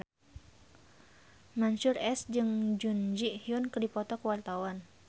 Mansyur S jeung Jun Ji Hyun keur dipoto ku wartawan